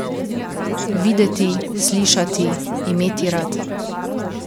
Videti, slišati, imeti rad.